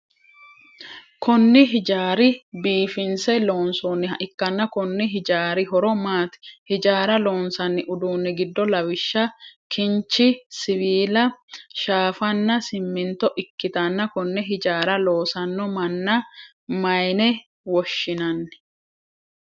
Kunni hijaari biifinse loonsoonniha ikanna konni hijaari horo maati? Hijaara loosanni uduunni gido lawishaho kinchi, siwiila, shaafanna siminto ikitanna Kone hijaara loosano manna mayine woshinnanni?